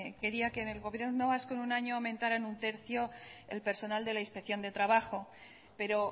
quería que en el gobierno vasco en un año aumentara en un tercio el personal de la inspección de trabajo pero